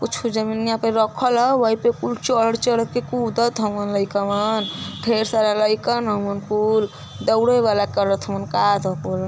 कुछ जमिनिया पे रखल ह वोइपे कुल चढ़-चढ़ के कुदत हउन लईक वां ढेर सारा लइकन हउन कुल दौड़े वाले करत --